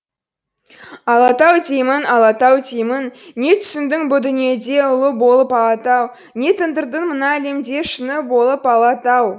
алатау деймін алатау деймін не түсіндің бұ дүниеде ұлы болып алатау не тындырдың мына әлемде шыңы болып алатау